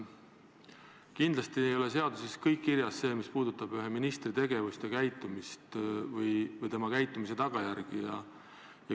Kindlasti ei ole seaduses kirjas kõik see, mis puudutab ühe ministri tegevust ja käitumist või tema käitumise tagajärgi.